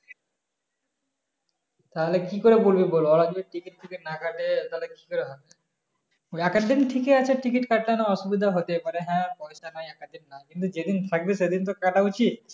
তাহলে কি করে বলবি বল ওরা যদি ticket ফিকেত না কাটে তাহলে কি করে হবে এক এক দিন থেক এ আছে ticket কাটানো অসুবিধা হতে পারে হ্যাঁ কিন্তু যেদিন থাকবে ঐদিন তো কাটা উচিত